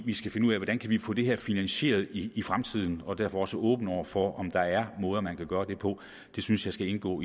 vi skal finde ud af hvordan vi kan få det her finansieret i i fremtiden og derfor også åben over for om der er måder man kan gøre det på det synes jeg skal indgå